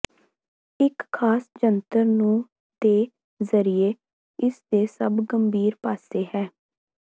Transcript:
ਇੱਕ ਖਾਸ ਜੰਤਰ ਨੂੰ ਦੇ ਜ਼ਰੀਏ ਇਸ ਦੇ ਸਭ ਗੰਭੀਰ ਪਾਸੇ ਹੈ